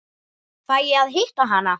Fæ ég að hitta hana?